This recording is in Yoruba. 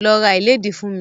Lọ ra ìlédìí fún mi!